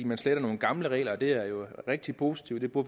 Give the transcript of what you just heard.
man sletter nogle gamle regler det er jo rigtig positivt og